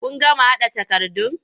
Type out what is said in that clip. Kun gama haɗa takardun?